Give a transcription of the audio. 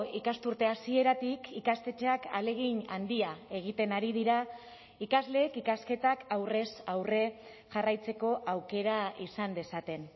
ikasturte hasieratik ikastetxeak ahalegin handia egiten ari dira ikasleek ikasketak aurrez aurre jarraitzeko aukera izan dezaten